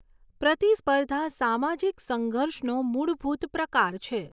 પ્રતિસ્પર્ધા સામાજીક સંઘર્ષનો મૂળભૂત પ્રકાર છે.